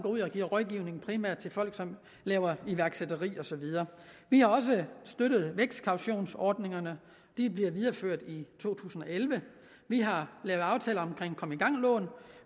giver rådgivning primært til folk som laver iværksætteri og så videre vi har også støttet vækstkautionsordningerne de bliver videreført i to tusind og elleve vi har lavet aftaler omkring kom i gang lån